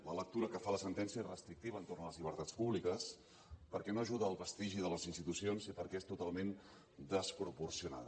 la lectura que fa la sentència és restrictiva entorn a les llibertats públiques perquè no ajuda al prestigi de les institucions i perquè és totalment desproporcionada